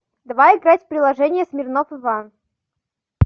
давай играть в приложение смирнов иван